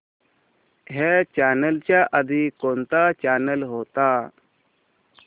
ह्या चॅनल च्या आधी कोणता चॅनल होता